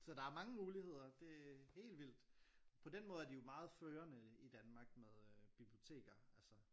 Så der er mange muligheder det er helt vildt på den måde er de jo meget førende i Danmark med øh biblioteker altså